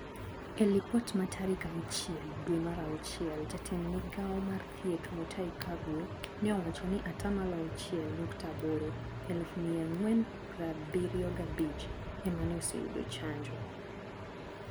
E lipot ma tarik auchiel dwe mar auchiel jatend migao mar thieth Mutahi Kagwe ne owacho ni atamalo achiel nukta aboro(eluf mia ang'wen prabirio gabich) emane osyudo chanjo.